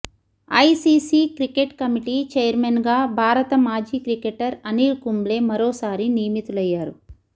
ICC cricket committee chairman గా భారత మాజీ క్రికెటర్ అనిల్ కుంబ్లే మరోసారి నియమితులయ్యారు